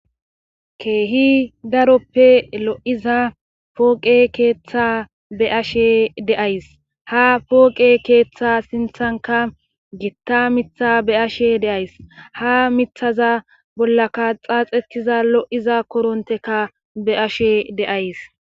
keehi daroppe lo'iza pooqe keeththa be ashe de'ays ha pooqe keeththa sinthanka gitta mitha be'ashe deays ha mithaza bollaka xaaxekiza lo'iza koronteka be'ashe de'ays